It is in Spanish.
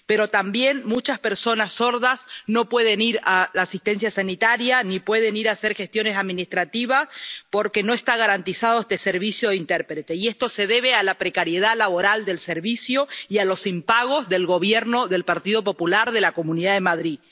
Pero también muchas personas sordas no pueden acceder a la asistencia sanitaria, ni pueden ir a hacer gestiones administrativas porque no está garantizado este servicio de intérpretes, y esto se debe a la precariedad laboral del servicio y a los impagos del Gobierno del Partido Popular de la Comunidad de Madrid.